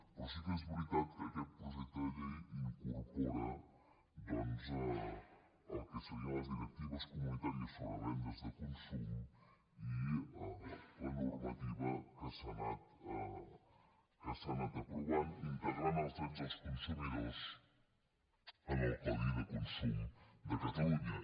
però sí que és veritat que aquest projecte de llei incorpora doncs el que serien les directives comunitàries sobre vendes de consum i la normativa que s’ha anat aprovant integrant els drets dels consumidors en el codi de consum de catalunya